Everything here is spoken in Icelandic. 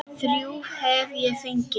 Þrjú hef ég fengið.